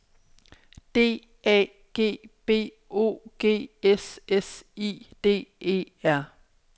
D A G B O G S S I D E R